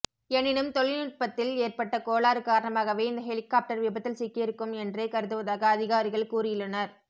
எனினும் தொழில்நுட்பத்தில் ஏற்பட்ட கோளாறு காரணமாகவே இந்த ஹெலிகாப்டர் விபத்தில் சிக்கியிருக்கும் என்றே கருதுவதாக அதிகாரிகள் கூறியுள்ளனர்